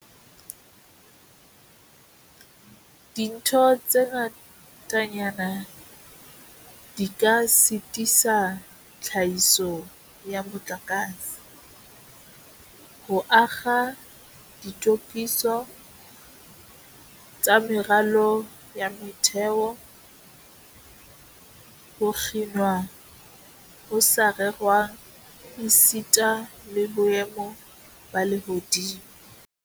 Dintho tse ngatanyana di ka sitisa tlhahiso ya motlakase, ho akga ditokiso tsa meralo ya motheo, ho kginwa ho sa rerwang esita le boemo ba lehodimo.